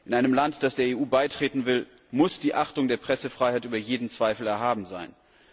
In einem Land, das der EU beitreten will, muss die Achtung der Pressefreiheit über jeden Zweifel erhaben sein.